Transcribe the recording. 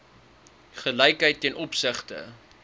gelykheid ten opsigte